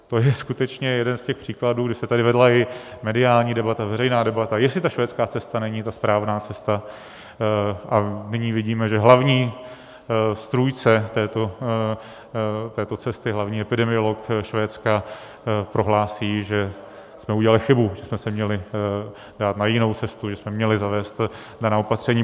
To je skutečně jeden z těch příkladů, kdy se tady vedla i mediální debata, veřejná debata, jestli ta švédská cesta není ta správná cesta, a nyní vidíme, že hlavní strůjce této cesty, hlavní epidemiolog Švédska, prohlásí, že jsme udělali chybu, že jsme se měli dát na jinou cestu, že jsme měli zavést daná opatření.